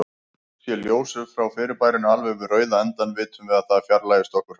Sé ljósið frá fyrirbærinu alveg við rauða endann, vitum við að það fjarlægist okkur hratt.